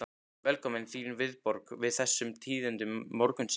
Velkominn, þín viðbrögð við þessum tíðindum morgunsins?